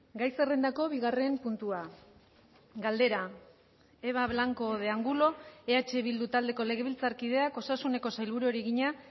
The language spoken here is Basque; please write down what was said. gai zerrendako bigarren puntua galdera eba blanco de angulo eh bildu taldeko legebiltzarkideak osasuneko sailburuari egina